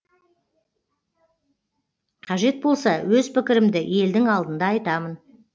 қажет болса өз пікірімді елдің алдында айтамын